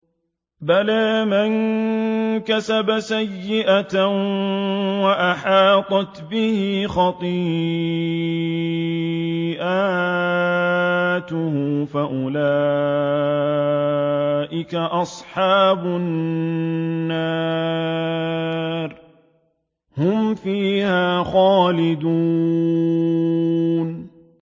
بَلَىٰ مَن كَسَبَ سَيِّئَةً وَأَحَاطَتْ بِهِ خَطِيئَتُهُ فَأُولَٰئِكَ أَصْحَابُ النَّارِ ۖ هُمْ فِيهَا خَالِدُونَ